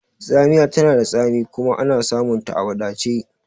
Tsamiya tana da tsami kuma ana samunta a wadace